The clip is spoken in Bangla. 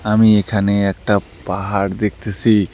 আমি এখানে একটা পাহাড় দেখতেসি।